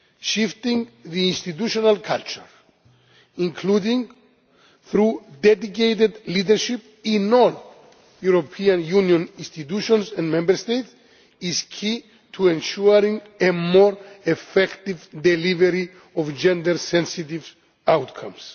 shifting the institutional culture including through dedicated leadership in all European Union institutions and Member States is key to ensuring a more effective delivery of gender sensitive outcomes.